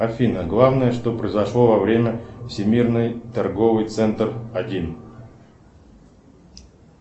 афина главное что произошло во время всемирной торговый центр один